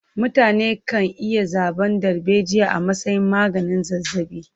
Mutane kan iya zaɓan darbejiya a matsayin maganin zazzaɓi.